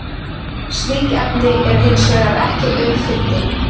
slík efni eru hins vegar ekki auðfundin